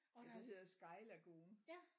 Og deres ja